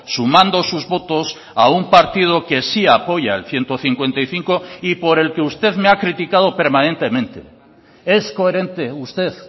sumando sus votos a un partido que sí apoya el ciento cincuenta y cinco y por el que usted me ha criticado permanentemente es coherente usted